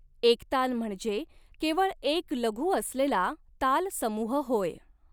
एकताल म्हणजे केवळ एक लघु असलेला ताल समूह होय.